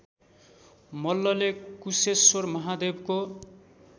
मल्लले कुशेश्वर महादेवको